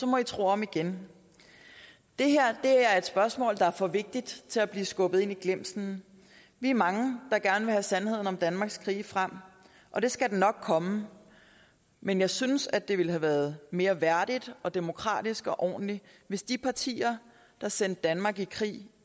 må i tro om igen det her er et spørgsmål der er for vigtigt til at blive skubbet ind i glemslen vi er mange der gerne vil have sandheden om danmarks krige frem og det skal den nok komme men jeg synes at det ville have været mere værdigt og demokratisk og ordentligt hvis de partier der sendte danmark i krig